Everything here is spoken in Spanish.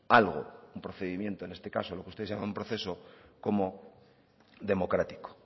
algo un procedimiento en este caso lo que ustedes llaman proceso como democrático